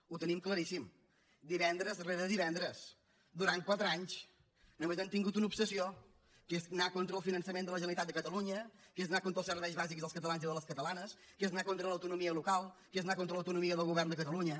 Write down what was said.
ho tenim claríssim divendres rere divendres durant quatre anys només han tingut una obsessió que és anar contra el finançament de la generalitat de catalunya que és anar contra els serveis bàsics dels catalans i de les catalanes que és anar contra l’autonomia local que és anar contra l’autonomia del govern de catalunya